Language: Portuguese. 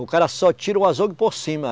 O cara só tira o azougue por cima.